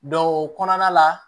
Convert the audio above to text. o kɔnɔna la